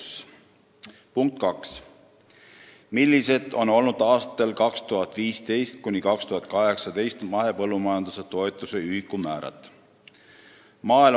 Küsimus nr 2: "Millised on olnud aastatel 2015–2018 mahepõllumajanduse toetuse ühikumäärad?